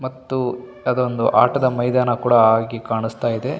ಮತ್ತು ಅದೊಂದು ಆಟದ ಮೈದಾನ ಕೂಡ ಆಗಿ ಕಾಣಸ್ತಾಯಿದೆ .